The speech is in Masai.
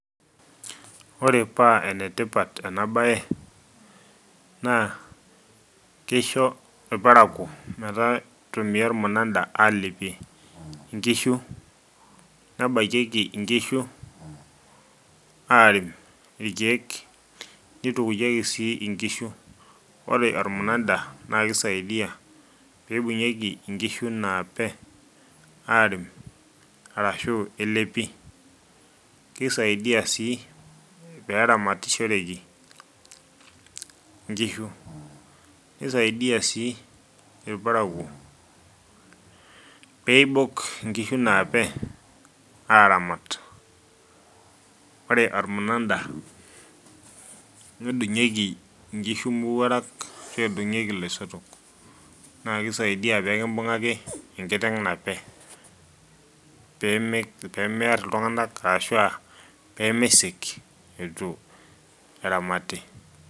ore paa ene tipat ena bae, naa kisho irparakuo mitumia ormunada, aalepi nkishu, nebakieki nkishu, aarem irkeek, nitukuyieki sii nkishu, ore ormunada, naa kisaidia, pee eibungieki nkishu naape, aarem, arashu elepi. kisaidia sii pee eramatishoreki nkishu. kisaidia sii irparakuo pee eibok nkishu naape aaramat. ore ormunada, nedungieki, nkishu mowuarak ashu edungieki losotok. naa keisaidia pee kiungaki enkiteng nape. pee meer iltunganak ashu pee meisik eitu eramati.